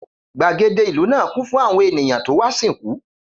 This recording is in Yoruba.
Gbàgede ìlú náà kún fún àwọn ènìyàn tó wá sìnkú